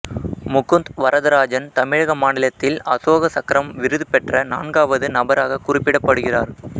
முகுந்த் வரதராஜன் தமிழக மாநிலத்தில் அசோக சக்கரம் விருது பெற்ற நான்காவது நபராக குறிப்பிடப்படுகிறார்